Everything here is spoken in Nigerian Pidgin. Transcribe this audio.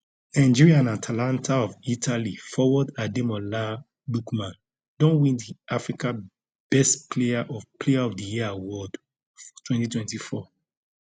nigeria and atalanta of italy forward ademola lookman don win di africa best player of player of di year award for 2024